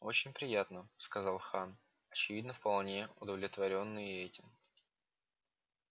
очень приятно сказал хан очевидно вполне удовлетворённый и этим